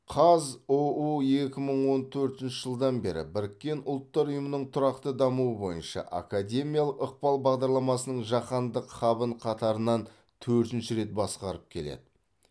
қазұу екі мың он төртінші жылдан бері біріккен ұлттар ұйымының тұрақты дамуы бойынша академиялық ықпал бағдарламасының жаһандық хабын қатарынан төртінші рет басқарып келеді